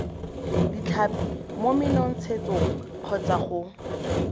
ditlhapi mo menontshetsong kgotsa go